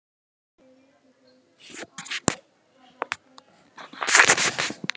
Hver vill elska fagott?